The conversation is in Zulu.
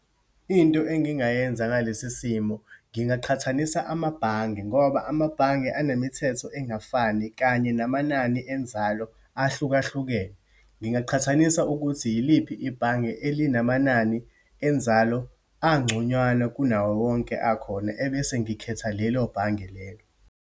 Into engingayenza ngalesi simo, ngingaqhathanisa amabhange ngoba amabhange anemithetho engafani, kanye namanani enzalo ahlukahlukene. Ngingaqhathanisa ukuthi yiliphi ibhange elinamanani enzalo angconywana kunawowonke akhona, ebese ngikhetha lelo bhange lelo.